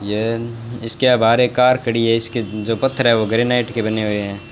ऐन इसके बाहर कार खड़ी है। इसके जो पत्थरे है वो ग्रेनाइट के बने हुए है।